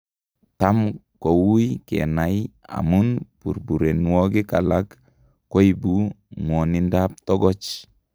Tam koui kanai amun burburenwogik alak koibu ng'wonindab togoch